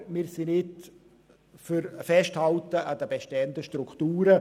Aber wir sind nicht für ein Festhalten an den bestehenden Strukturen.